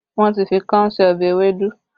Wọn ti fi káún sí ọbẹ̀ ewédú